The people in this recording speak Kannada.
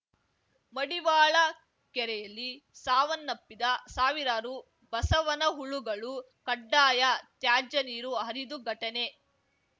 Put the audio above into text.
ಮಡಿವಾಳ ಕೆರೆಯಲ್ಲಿ ಸಾವನ್ನಪ್ಪಿದ ಸಾವಿರಾರು ಬಸವನ ಹುಳುಗಳು ಕಡ್ಡಾಯ ತ್ಯಾಜ್ಯ ನೀರು ಹರಿದು ಘಟನೆ